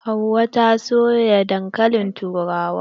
Hauwa ta soya dankalin turawa.